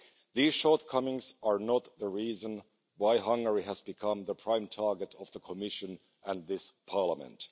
These shortcomings are not the reason why Hungary has become the prime target of the Commission and this Parliament.